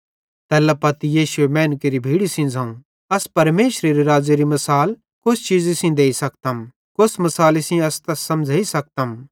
तैल्ला पत्ती यीशुए मैनू केरि भीड़ी सेइं ज़ोवं अस परमेशरेरू राज़्ज़ेरी मसाल कोस चीज़ी सेइं देई सकतम कोस मिसाली सेइं अस तैस समझ़ेइ सकतम